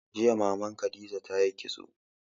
Jiya Maman Khadija ta yi kitso.